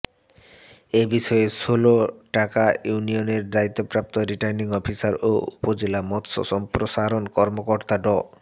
এ বিষয়ে ষোলটাকা ইউনিয়নের দায়িত্বপ্রাপ্ত রিটার্নিং অফিসার ও উপজেলা মৎস্য সম্প্রসারণ কর্মকর্তা ড